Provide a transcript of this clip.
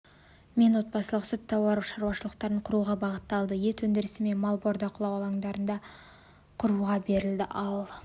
мен отбасылық сүт-тауар шаруашылықтарын құруға бағытталды ет өндірісі мен мал бордақылау алаңдарын құруға берілді ал